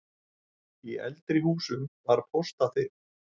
Í eldri húsum var póstaþil.